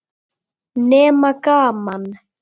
Nema gaman.